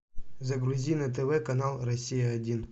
загрузи на тв канал россия один